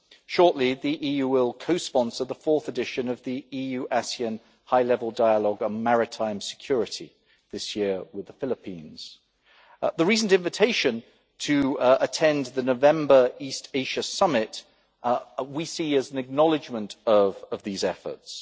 Shortly, the EU will co sponsor the fourth edition of the EU ASEAN high level dialogue on maritime security this year with the Philippines. We see the recent invitation to attend the November East Asia Summit as an acknowledgment of these efforts.